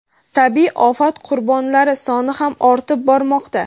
Tabiiy ofat qurbonlari soni ham ortib bormoqda.